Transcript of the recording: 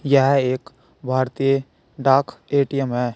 यह एक भारतीय डाक ए_टी_यम हैं।